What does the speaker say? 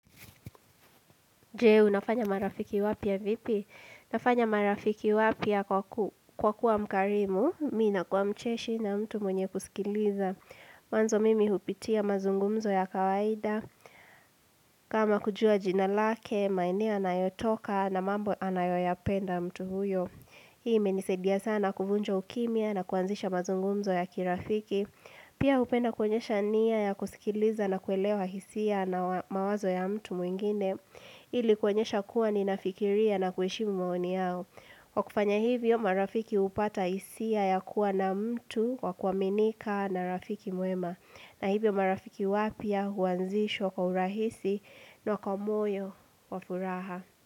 Je, unafanya marafiki wapya vipi? Nafanya marafiki wapya kwa kuwa mkarimu, mimi nakua mcheshi na mtu mwenye kusikiliza. Mwanzo mimi hupitia mazungumzo ya kawaida. Kama kujua jina lake, maeneo anayotoka na mambo anayoyapenda mtu huyo. Hii imenisaidia sana kuvunja ukimya na kuanzisha mazungumzo ya kirafiki. Pia hupenda kuonyesha nia ya kusikiliza na kuelewa hisia na mawazo ya mtu mwingine. Ili kuonyesha kuwa ninafikiria na kuheshimu maoni yao Kwa kufanya hivyo marafiki hupata hisia ya kuwa na mtu wa kuaminika na rafiki mwema na hivyo marafiki wapya huanzishwa kwa urahisi na kwa moyo wa furaha.